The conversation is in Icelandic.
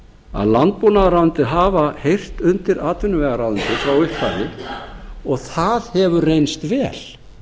að landbúnaðarráðuneyti hafa heyrt undir atvinnuvegaráðuneyti frá upphafi og það hefur reynst vel